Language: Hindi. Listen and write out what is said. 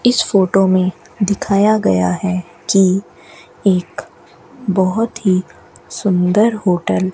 इस फोटो में दिखाया गया है कि एक बहुत ही सुंदर होटल --